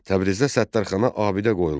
Təbrizdə Səttarxana abidə qoyulmuşdu.